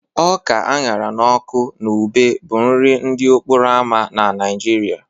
Ọka a ṅara n'ọkụ na ube bụ nri ndị okporo ámá na Nigeria